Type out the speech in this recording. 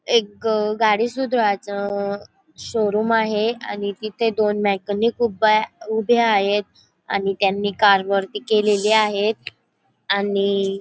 एक अह गाडी सुधरवायच अह शोरूम आहे आणि तिथे दोन मेकॅनिक उभा आ उभे आहेत आणि त्यांनी कार वरती केलेली आहेत आणि --